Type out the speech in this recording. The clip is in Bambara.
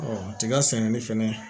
tiga sɛnɛni fɛnɛ